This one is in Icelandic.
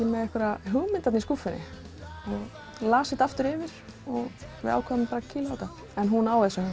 með einhverja hugmynd í skúffunni ég las þetta aftur yfir og við ákváðum að kýla á þetta en hún á þessa